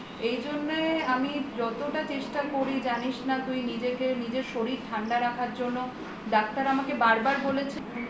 এইজন্য আমি যতটা চেষ্টা করি জানিস না তুই নিজেকে নিজের শরীর ঠান্ডা রাখার জন্য ডাক্তার আমাকে বার বার বলেছে